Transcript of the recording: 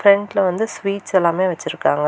பிரண்ட்ல வந்து ஸ்வீட்ஸ் எல்லாமே வச்சிருக்காங்க.